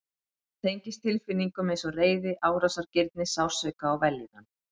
Hún tengist tilfinningum eins og reiði, árásargirni, sársauka og vellíðan.